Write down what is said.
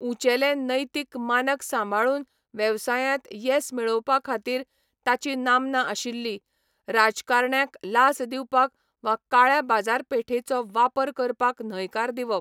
उंचेले नैतीक मानक सांबाळून वेवसायांत येस मेळोवपा खातीर ताची नामना आशिल्ली, राजकारण्यांक लांच दिवपाक वा काळ्या बाजारपेठेचो वापर करपाक न्हयकार दिवप.